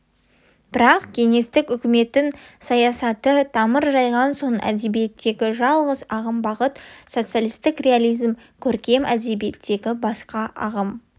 бірақ кеңестік үкіметтің саясаты тамыр жайған соң әдебиеттегі жалғыз ағым-бағыт социалистік реализм көркем әдебиеттегі басқа ағым